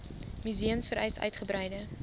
museums vereis uitgebreide